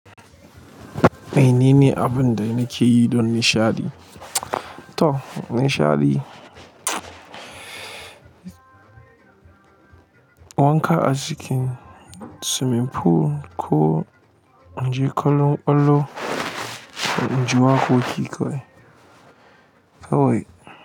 Mene ne abun da na ke yi don nishaɗi? To, nishaɗi, wanka a cikin swimming pool ko in je kallon ƙwallo, in ji waƙoƙi kawai kawai.